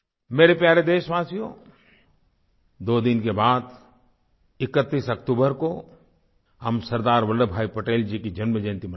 मेरे प्यारे देशवासियो दो दिन के बाद 31 अक्तूबर को हम सरदार वल्लभ भाई पटेल जी की जन्मजयंती मनाएंगे